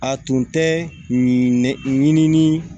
A tun tɛ ɲinini